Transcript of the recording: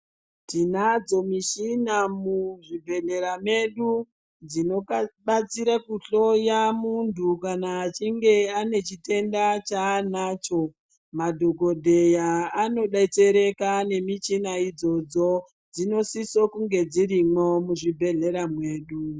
Tinadzo mishina muzvibhedhleya medu dzinobatsira kuhloya muntu kana achinge ane chitenda chaanacho. Madhogodheya anobetsereka nemichina idzodzo dzinosiso kunge dzirimwo muzvibhedhlera mwedu.